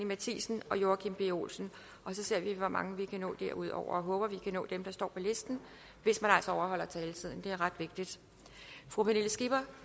matthiesen og joachim b olsen og så ser vi hvor mange vi kan nå derudover jeg håber at vi kan nå dem der står på listen hvis man altså overholder taletiden det er ret vigtigt fru pernille skipper